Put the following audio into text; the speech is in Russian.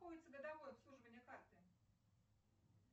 годовое обслуживание карты